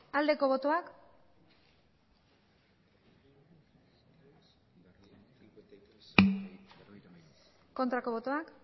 bozka dezakegu aldeko botoak aurkako botoak